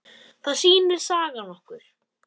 Það sýnir sagan okkur.